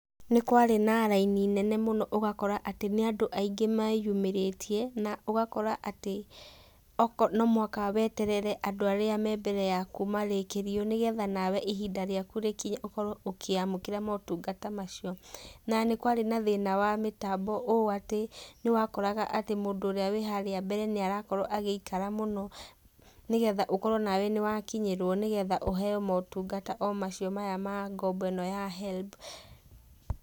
Nĩ kwarĩ na raini nene mũno ũgakora atĩ nĩ andũ aingĩ meyumĩrĩtie na ũgakora atĩ no mũhaka weterere andũ arĩa me mbere yaku marĩkĩrio nĩ getha nawe ihinda rĩaku rĩkinye ũkorwo ũkũamũkĩra motungata macio. Na nĩ kwarĩ na thĩna wa mĩtambo ũũ atĩ nĩ wakoraga atĩ mũndũ ũrĩa wĩ haria mbere nĩ arakorwo agiĩkara mũno, nĩgetha ũkorwo nawe nĩ wakinyĩrwo nĩgetha ũheyo motungata o macio maya ma ngombo ya HELB.